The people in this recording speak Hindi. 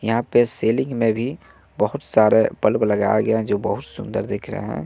यहां पे सिलिंग में भी बहोत सारे बल्ब लगाया गया है जो बहुत सुंदर दिख रहे हैं।